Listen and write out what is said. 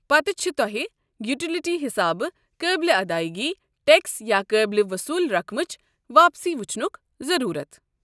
پتہِ چھِ تۄہہِ یوٹیلیٹی حِسابہٕ قٲبل ادٲیگی ٹیکس یا قٲبل وصوٗل رقمٕچ واپسی وٕچھنُک ضروٗرَت۔